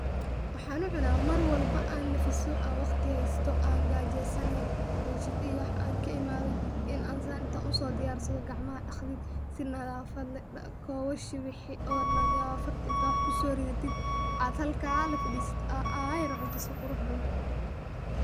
Waxan u cuna Mar walbo an nafiiso an waqti haysto an gaajesanehe an shaqa iyo wax ka imaade in an San intan usodiyarsado gacmaha dhaqdid si nadaafad leh kobashii wixii oo nadaafad leh intad wax kuso ridatid ad halkaa lafadhisatid aa ayar cunto si qurux badan